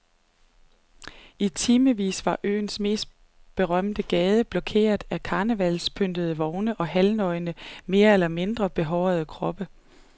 I timevis var øens mest berømte gade blokeret af karnevalspyntede vogne og halvnøgne mere eller mindre behårede kroppe.